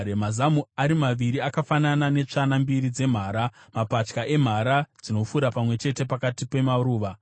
Mazamu ako ari maviri akafanana netsvana mbiri dzemhara, mapatya emhara dzinofura pamwe chete pakati pemaruva.